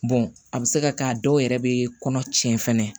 a bɛ se ka kɛ a dɔw yɛrɛ bɛ kɔnɔ tiɲɛ fana